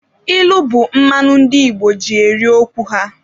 Ilu bụ mmanụ ndị Igbo ji eri okwu ha.